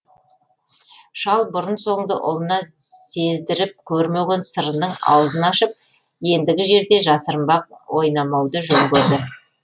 шал бұрын соңды ұлына сездіріп көрмеген сырының аузын ашып ендігі жерде жасырынбақ ойнамауды жөн көрді